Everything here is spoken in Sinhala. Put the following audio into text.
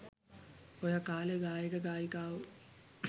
ඔය කාලෙ ගායක ගායිකාවො